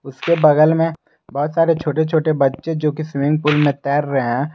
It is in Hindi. उसके बगल में बहुत सारे छोटे छोटे बच्चे जो की स्विमिंग पुल में तैर रहे है।